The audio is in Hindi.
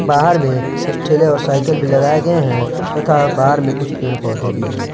बाहर भी कुछ ठेले और साइकिल भी लगाए गए हैं तथा बाहर में कुछ पेड़-पौधे भी हैं।